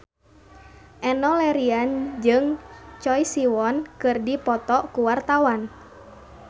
Enno Lerian jeung Choi Siwon keur dipoto ku wartawan